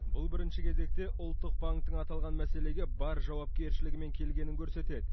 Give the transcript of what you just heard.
бұл бірінші кезекте ұлттық банктің аталған мәселеге бар жауапкершілігімен келгенін көрсетеді